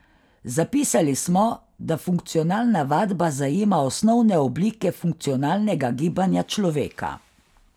Zapisali smo, da funkcionalna vadba zajema osnovne oblike funkcionalnega gibanja človeka.